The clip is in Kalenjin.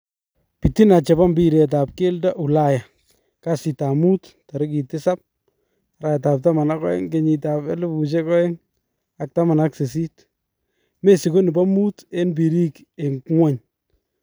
bitina chebo mbiret ab keldo Ulaya kasta mut 07.12.2018 Messi ko nebo mut eng birik eng ngwony.